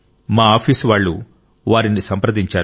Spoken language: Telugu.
మా ఆఫీసు వాళ్ళు వారిని సంప్రదించారు